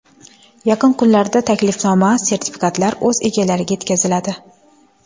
Yaqin kunlarda taklifnoma-sertifikatlar o‘z egalariga yetkaziladi.